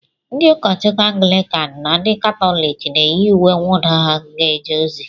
Ndị ụkọchukwu Anglịkan na ndị Katọlik na-eyi uwe mwụda ha ga-eje ozi.